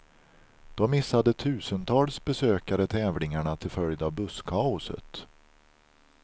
Då missade tusentals besökare tävlingarna till följd av busskaoset.